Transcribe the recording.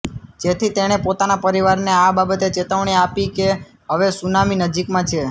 જેથી તેણે પોતાના પરિવારને આ બાબતે ચેતવણી આપી કે હવે સુનામી નજીકમાં છે